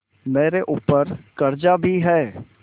मेरे ऊपर कर्जा भी है